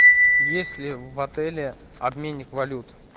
есть ли в отеле обменник валют